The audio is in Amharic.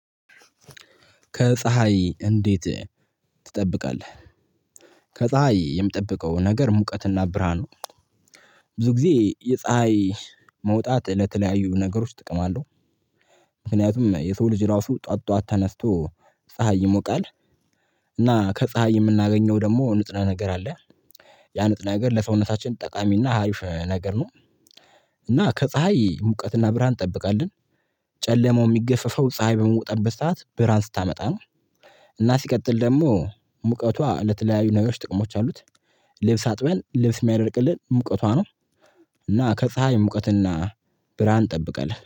ከፀሀይ እንዴት ትጠብቃለ? ከፀሀይ የምጠብቀው ነገር ሙቀትና ብርሃኑ ብዙ ጊዜ የፀሀይ መውጣት ለተለያዩ ነገሮች ጥቅም አለው። ምክንያቱም የሰው ልጅ ራሱ ጠዋት ጠዋት ተነስቶ ፀሀይ ይሞቃል። እና ከፀሀይ የምናገኘው ደግሞ ንጥረ ነገር አለ ያንጥራ ነገር ለሰውነታችን ጠቃሚና አሪፍ ነገር ነው። እና ከፀሀይ ሙቀትና ብርሃን እንጠብቃለን። ጨለማው የሚገፍፈው ፀሀይ በመውጣበት ሰዓት ብርሃን ስታመጣ ነው እና ሲቀጥል ደግሞ ሙቀቷ ለተለያዩ ነገሮች ጥቅሞች አሉት። ልብስ አጥበን ልብስ የሚያደርቅልን ሙቀቷ ነው እና ከፀሀይ ሙቀትና ብራን እንጠብቀለን።